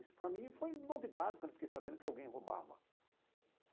Isso para mim foi novidade quando eu fiquei sabendo que alguém roubava.